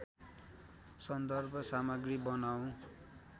सन्दर्भ सामग्री बनाऊँ